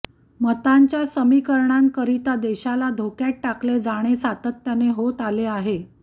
मतांच्या समीकरणांकरिता देशाला धोक्यात टाकले जाणे सातत्याने होत आले आहे